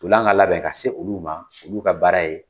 Ntolan ka labɛn ka se olu ma olu ka baara ye.